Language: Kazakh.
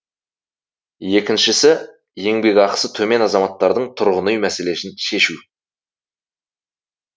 екіншісі еңбекақысы төмен азаматтардың тұрғын үй мәселесін шешу